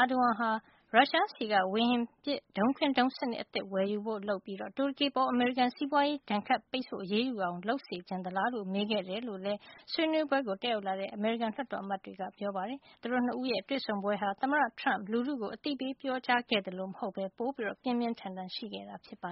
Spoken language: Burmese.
Erdogan ဟာ ရုရှားဆီက ဝေဟင်ပစ် ဒုံးခွင်းဒုံးစံနစ် အသစ် ဝယ်ယူဖို့ လုပ်ပြီး တူရကီအပေါ် အမေရိကန်က စီးပွားရေးဒဏ်ခတ် အရေးယူလာအောင် လုပ်ချင်သလားလို့ မေးခဲ့ကြတယ်လို့လည်း ဆွေးနွေးပွဲကို တက်ရောက်လာတဲ့ အမေရိကန်လွှတ်တော်အမတ်တွေက ပြောပါတယ်။ သမ္မတ ၂ ဦးရဲ့ တွေ့ဆုံပွဲဟာ သမ္မတ Trump လူထုကို အသိပေး ပြောကြားခဲ့သလို မဟုတ်ပဲ ပိုပြီး ပြင်းပြင်းထန်ထန် ရှိခဲ့တာပါ